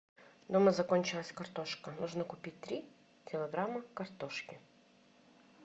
дома закончилась картошка нужно купить три килограмма картошки